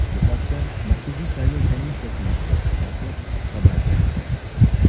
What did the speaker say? Bu haqda Markaziy saylov komissiyasi matbuot xizmati xabar bermoqda .